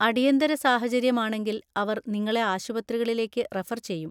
അടിയന്തര സാഹചര്യമാണെങ്കിൽ അവർ നിങ്ങളെ ആശുപത്രികളിലേക്ക് റഫർ ചെയ്യും.